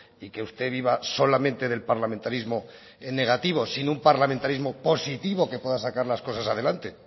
y que usted viva solamente del parlamentarismo negativo sin un parlamentarismo positivo que pueda sacar las cosas adelante